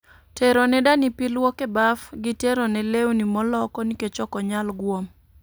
Tero ne dani pi lwok e baf gi tero ne lewni moloko nikech ok onyal gwom